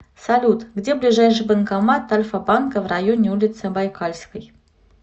салют где ближайший банкомат альфа банка в районе улицы байкальской